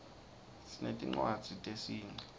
sinetinwadzz tesinqi